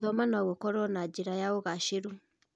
Gũthoma no gũkorwo njĩra ya ũgacĩĩru.